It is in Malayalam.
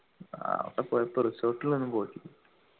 ആട പോയപ്പോ resort ലൊന്നും പോയിട്ടില്ല